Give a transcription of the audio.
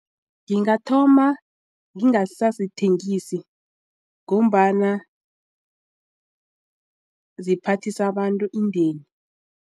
Ngingathoma ngingasazithengisi ngombana ziphathisa abantu indeni.